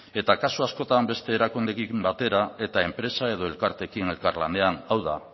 eta kasu askotan beste erakundeekin batera eta enpresa edo elkarteekin elkarlanean hau da